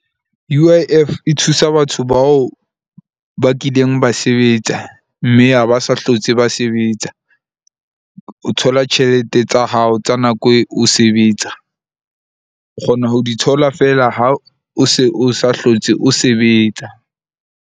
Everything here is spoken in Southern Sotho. U_ I_F e thusa batho bao ba kileng ba sebetsa. Mme ha ba sa hlotse ba sebetsa. O thola tjhelete tsa hao tsa nako e o o sebetsa. O kgona ho di thola feela ha o se o sa hlotse o sebetsa.